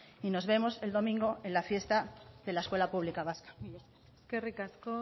y nos vemos el domingo en la fiesta de la escuela pública vasca mila esker eskerrik asko